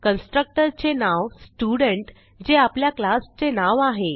constructor चे नाव student जे आपल्या क्लासचे नाव आहे